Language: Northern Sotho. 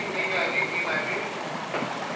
ye nnyanenyane e na le